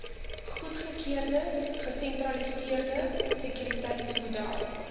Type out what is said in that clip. goedgekeurde gesentraliseerde sekuriteitsmodel